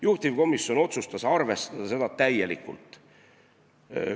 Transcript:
Juhtivkomisjon otsustas arvestada seda täielikult.